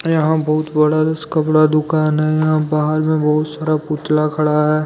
यहां बहुत बड़ा इस कपड़ा का दुकान है। यहां बाहर में बहुत सारा पुतला खड़ा है।